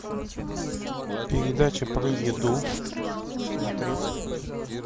передача про еду смотреть